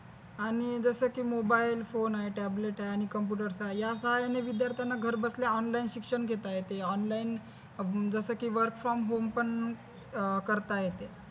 आणि जस कि मोबाइल phone आहे tablet आहे आणि computer आहे या साहाय्याने विद्यार्थ्याला घर बसल्या online शिक्षण घेता येते online जस कि work from home पण करता येते